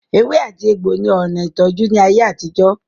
Ewe ati egbo ni ona itoju ni aye atijo.